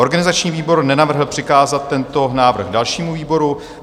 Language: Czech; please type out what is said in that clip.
Organizační výbor nenavrhl přikázat tento návrh dalšímu výboru.